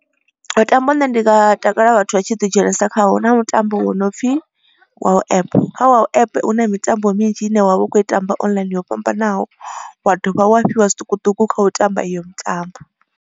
Mutambo une ndi nga takala vhathu vha tshi ḓi dzhenisa khawo huna mutambo wo no pfhi wow app. Kha wow app hu na mitambo minzhi ine wavha u kho i tamba online yo fhambanaho wa dovha wa fhiwa zwiṱukuṱuku kha u tamba iyo mitambo.